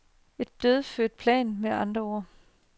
En dødfødt plan med andre ord.